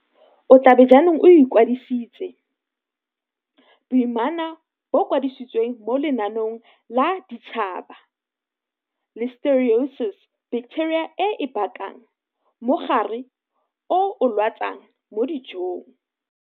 O tla be jaanong o ikwadisitse. Boimana bo kwadisitswe mo lenaneong la bosetšhaba. Listeriosis Baketeria e e bakang mogare o o lwatsang mo dijong.